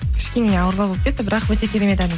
кішкене ауырлау болып кетті бірақ өте керемет ән